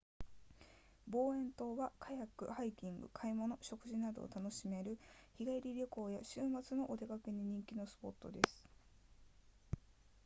ボーエン島はカヤックハイキング買い物食事などを楽しめる日帰り旅行や週末のお出かけに人気のスポットです